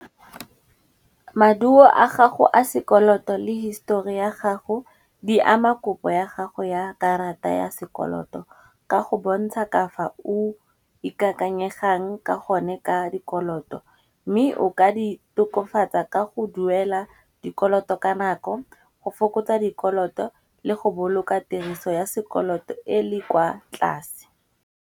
Maduo a gago a sekoloto le histori ya gago di ama kopo ya gago ya karata ya sekoloto, ka go bontsha ka fa o ikakanyegang ka gone ka dikoloto. Mme o ka di tokafatsa ka go duela dikoloto ka nako, go fokotsa dikoloto le go boloka tiriso ya sekoloto e le kwa tlase.